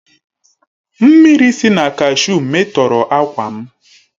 Mmiri si na kashuu metọrọ ákwà m.